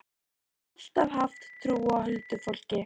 Ég hef alltaf haft trú á huldufólki.